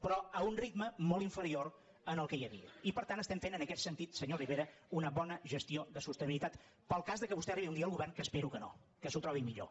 però a un ritme molt inferior al que hi havia i per tant estem fent en aquest sentit senyor rivera una bona gestió de sostenibilitat per al cas que arribi un dia al govern que espero que no que s’ho trobi millor